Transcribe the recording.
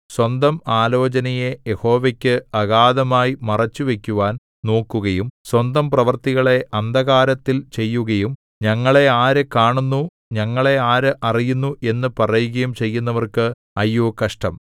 സ്വന്തം ആലോചനയെ യഹോവയ്ക്ക് അഗാധമായി മറച്ചുവയ്ക്കുവാൻ നോക്കുകയും സ്വന്തം പ്രവൃത്തികളെ അന്ധകാരത്തിൽ ചെയ്യുകയും ഞങ്ങളെ ആര് കാണുന്നു ഞങ്ങളെ ആര് അറിയുന്നു എന്നു പറയുകയും ചെയ്യുന്നവർക്ക് അയ്യോ കഷ്ടം